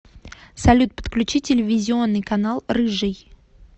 салют подключи телевизионный канал рыжий